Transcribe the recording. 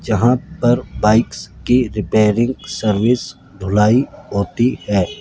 जहां पर बाइक्स की रिपेयरिंग सर्विस धुलाई होती है।